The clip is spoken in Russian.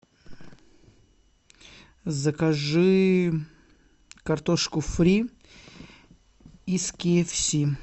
закажи картошку фри из ки эф си